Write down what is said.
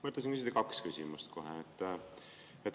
Mõtlesin küsida kohe kaks küsimust.